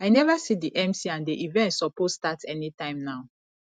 i never see the mc and the event suppose start anytime now